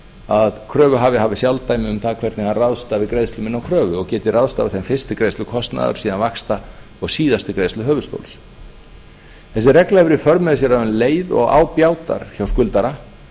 að kröfuhafi hafi sjálfdæmi um það hvernig hann ráðstafi greiðslum inn á kröfu og geti ráðstafað þeim fyrst til greiðslukostnaðar síðan vaxta og síðast til greiðslu höfuðstóls þessi regla hefur í för með sér að um leið og á bjátar hjá skuldara